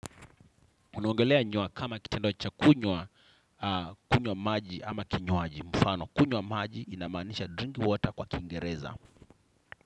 Unaongelea nywa kama kitendo cha kunywa, kunywa maji ama kinywaji mfano. Kunywa maji inamaanisha drink water kwa kingereza.